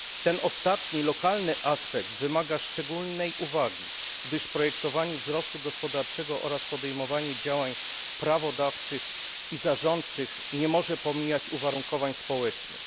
Ten ostatni lokalny aspekt wymaga szczególnej uwagi, gdyż planowanie wzrostu gospodarczego oraz podejmowanie działań prawodawczych i zarządczych nie może pomijać uwarunkowań społecznych.